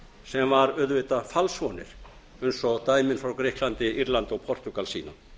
sem voru auðvitað falsvonir eins og dæmin frá grikklandi írlandi og portúgal sýna